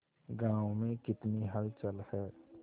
गांव में कितनी हलचल है